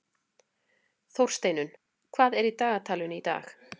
Þórsteinunn, hvað er í dagatalinu í dag?